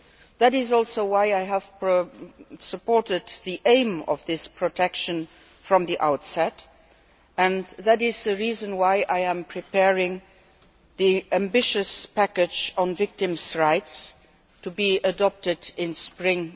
That is also why I have supported the aim of this protection from the outset, and that is the reason why I am preparing the ambitious package on victims' rights to be adopted in spring